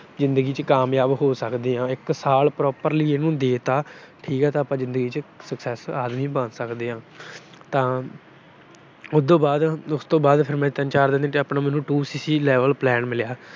ਜਿੰਦਗੀ ਚ ਕਾਮਯਾਬ ਹੋ ਸਕਦੇ ਆ। ਇੱਕ ਸਾਲ properly ਜੇ ਇਹਨੂੰ ਦੇਤਾ, ਠੀਕ ਆ ਤਾਂ ਆਪਾ ਜਿੰਦਗੀ ਚ success ਆਦਮੀ ਬਣ ਸਕਦੇ ਆ। ਤਾਂ ਉਦੋਂ ਬਾਅਦ ਅਹ ਉਸ ਤੋਂ ਬਾਅਦ ਫਿਰ ਮੈਂ ਤਿੰਨ-ਚਾਰ ਦਿਨ Two CC Level Plan ਮਿਲਿਆ।